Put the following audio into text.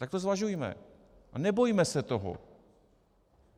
Tak to zvažujme a nebojme se toho.